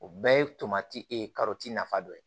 O bɛɛ ye tomati ye nafa dɔ ye